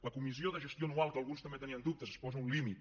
la comissió de gestió anual que alguns també en tenien dubtes es posa un límit